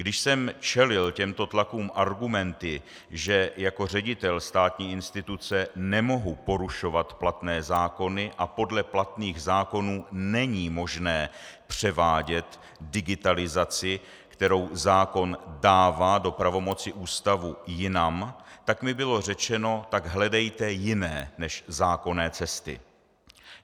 Když jsem čelil těmto tlakům argumenty, že jako ředitel státní instituce nemohu porušovat platné zákony a podle platných zákonů není možné převádět digitalizaci, kterou zákon dává do pravomoci ústavu, jinam, tak mi bylo řečeno: Tak hledejte jiné než zákonné cesty.